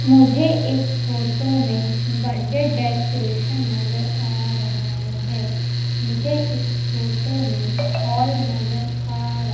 मुझे इस फोटो में बर्थडे डेकोरेशन नजर आ रहा है मुझे इस फोटो हॉल नजर आ र --